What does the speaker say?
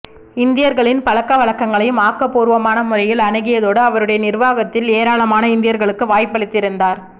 இந்தியர்களின் பழக்க வழக்கங்களையும் ஆக்கபூர்வமான முறையில் அணுகியதோடு அவருடைய நிர்வாகத்தில் ஏராளமான இந்தியர்களுக்கு வாய்ப்பளித்திருந்தார்